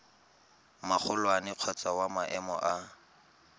magolwane kgotsa wa maemo a